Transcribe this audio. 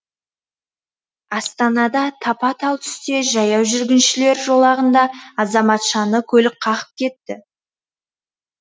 астанада тапа талтүсте жаяу жүргіншілер жолағында азаматшаны көлік қағып кетті